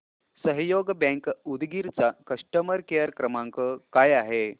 सहयोग बँक उदगीर चा customer care क्रमांक काय आहे